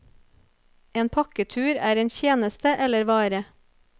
En pakketur er en tjeneste eller vare.